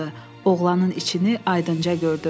Oğlanın içini aydınca gördü.